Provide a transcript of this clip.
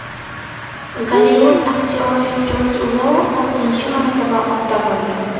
Gollivud aktyori Jud Lou oltinchi marotaba ota bo‘ldi.